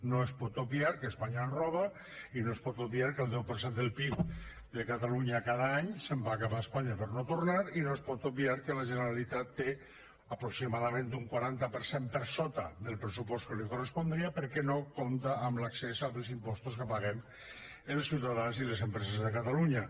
no es pot obviar que espanya ens roba i no es pot obviar que el deu per cent del pib de catalunya cada any se’n va cap a espanya per no tornar i no es pot obviar que la generalitat té aproximadament un quaranta per cent per sota del pressupost que li correspondria perquè no compta amb l’accés als impostos que paguem els ciutadans i les empreses a catalunya